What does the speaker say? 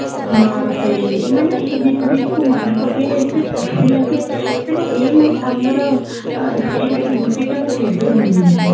ହଁ ସେଇ ମାନେ ଏଇ ଦି ଦିନ କୁ ମନେ ପକେଇଲେ ଏତେ ଖୁସି ଲାଗେ ମାନେ ଏଇ ଆମର ଏଇ ସ୍ମୃତି ତ ମୁଁ କେବେ ଭୁଲିବିନି